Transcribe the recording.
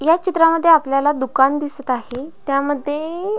या चित्रामध्ये आपल्याला दुकान दिसत आहे त्यामध्ये --